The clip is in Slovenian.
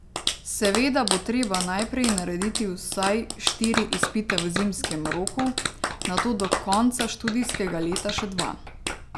Seveda bo treba najprej narediti vsaj štiri izpite v zimskem roku, nato do konca študijskega leta še dva.